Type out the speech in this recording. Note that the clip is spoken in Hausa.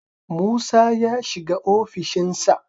Musa ya shiga ofishin sa